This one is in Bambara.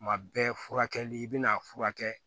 Kuma bɛɛ furakɛli i bɛ n'a furakɛ